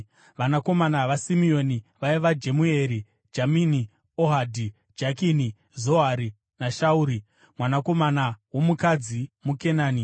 Vanakomana vaSimeoni vaiva: Jemueri, Jamini, Ohadhi, Jakini, Zohari naShauri, mwanakomana womukadzi muKenani.